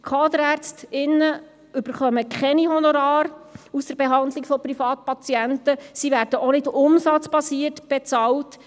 Die Kaderärztinnen und Kaderärzte erhalten keine Honorare aus der Behandlung von Privatpatienten, sie werden auch nicht umsatzbasiert bezahlt.